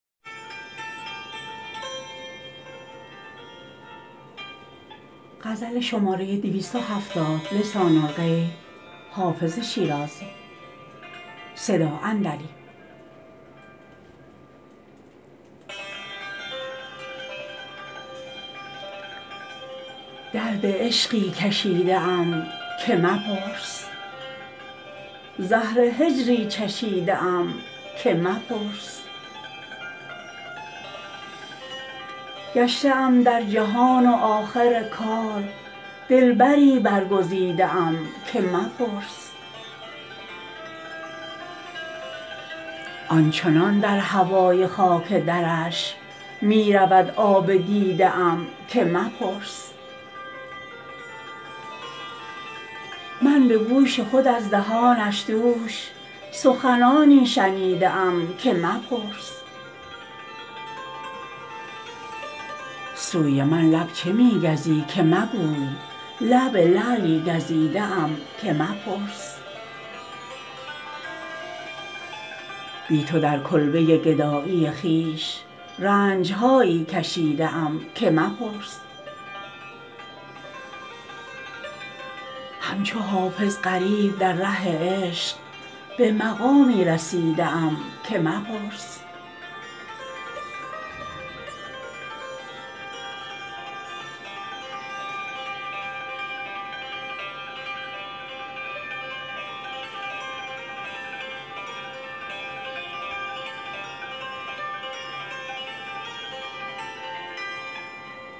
درد عشقی کشیده ام که مپرس زهر هجری چشیده ام که مپرس گشته ام در جهان و آخر کار دلبری برگزیده ام که مپرس آن چنان در هوای خاک درش می رود آب دیده ام که مپرس من به گوش خود از دهانش دوش سخنانی شنیده ام که مپرس سوی من لب چه می گزی که مگوی لب لعلی گزیده ام که مپرس بی تو در کلبه گدایی خویش رنج هایی کشیده ام که مپرس همچو حافظ غریب در ره عشق به مقامی رسیده ام که مپرس